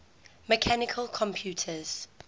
mechanical computers